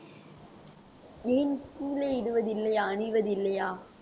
ஏன் இடுவதில்லையா அணிவதில்லையா